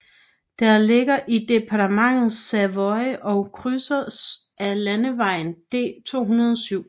Det ligger i departementet Savoie og krydses af landevejen D207